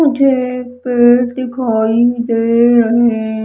मुझे पेड़ दिखाई दे रहे--